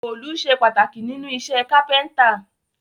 Òòlù sé pàtàkì nínú isẹ́ carpenter